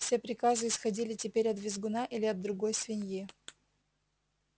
все приказы исходили теперь от визгуна или от другой свиньи